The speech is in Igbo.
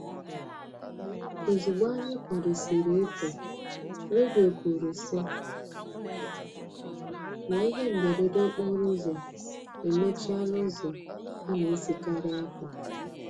Ozugbo anyị kwadosiri ị pụ, redio kwuru sị na ihe mberede okporo ụzọ emechiela ụzọ a na-esikari apụ.